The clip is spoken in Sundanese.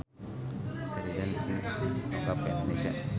Sheridan Smith dongkap ka Indonesia